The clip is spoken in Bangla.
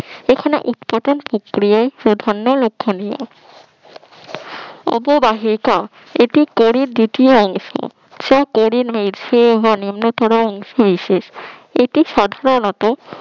এখানে inportant ধন্য লক্ষণীয় উপবাহিত এটি পরের দ্বিতীয় অংশ সে কেরিম মেঘ নিম্নতর অংশবিশেষ এটি সাধারণত